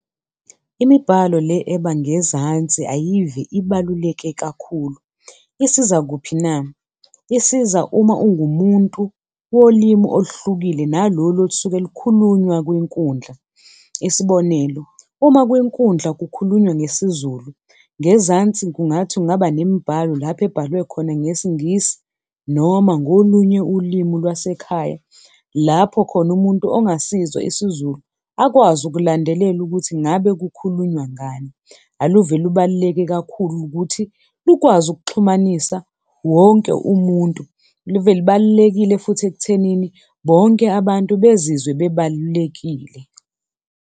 Imibhalo le ebangezansi ayive ibaluleke kakhulu. Isiza kuphi na? Isiza uma ungumuntu wolimi oluhlukile nalolu olusuke lukhulunywa kwinkundla. Isibonelo, uma kwinkundla kukhulunywa ngesiZulu, ngezansi kungathi kungaba nemibhalo lapho ebhalwe khona ngesiNgisi noma ngolunye ulimi lwasekhaya. Lapho khona umuntu ongasizwa isiZulu akwazi ukulandelela ukuthi ngabe kukhulunywa ngani. Aluve lubaluleke kakhulu ukuthi ukwazi ukuxhumanisa wonke umuntu, aluve lubalulekile futhi ekuthenini bonke abantu bezizwe bebalulekile.